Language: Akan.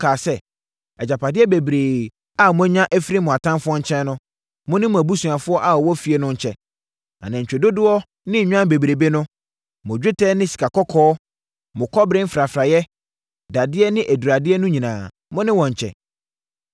kaa sɛ, “Agyapadeɛ bebrebe a moanya afiri mo atamfoɔ nkyɛn no, mo ne mo abusuafoɔ a wɔwɔ fie no nkyɛ. Anantwie dodoɔ ne nnwan bebrebe no, mo dwetɛ ne sikakɔkɔɔ, mo kɔbere mfrafraeɛ, dadeɛ ne aduradeɛ no nyinaa, mo ne wɔn nkyɛ.”